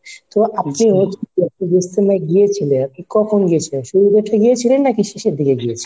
তো আপনি ইজতেমায় গিয়েছিলেন, কখন গিয়েছিলেন, শুরুর দিকে গিয়েছিলেন নাকি শেষের দিকে গিয়েছিলেন?